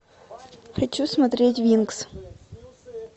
хочу смотреть винкс